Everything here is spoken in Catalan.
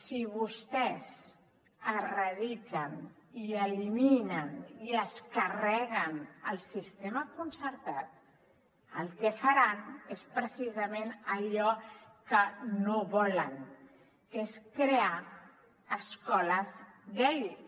si vostès erradiquen i eliminen i es carreguen el sistema concertat el que faran és precisament allò que no volen que és crear escoles d’elit